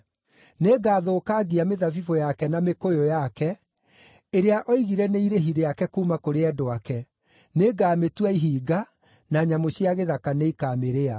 Nĩngathũkangia mĩthabibũ yake na mĩkũyũ yake, ĩrĩa oigire nĩ irĩhi rĩake kuuma kũrĩ endwa ake; nĩngamĩtua ihinga, na nyamũ cia gĩthaka nĩikamĩrĩa.”